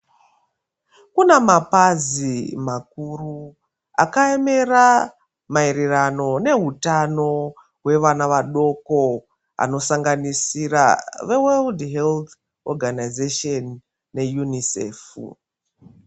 Kunamapazi makuru akayemera mayererano nehutano, hwevana vadoko, anosanganisira ve" World Health Organisation" ne "UNICEF".